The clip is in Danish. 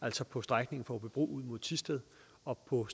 altså på strækningen fra aabybro ud mod thisted og på